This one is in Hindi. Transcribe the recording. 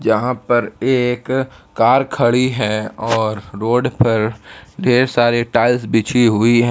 यहां पर एक कार खड़ी है और रोड पर ढेर सारे टाइल्स बिछी हुई है।